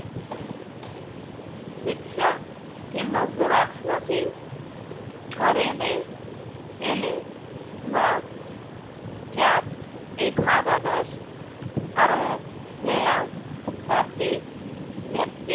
रिक्षा किंवा xerox machine खरेदी केली व त्यात एखादा दोष आढळलेला तर ती व्यक्ती